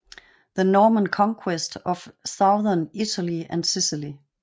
The Norman Conquest of Southern Italy and Sicily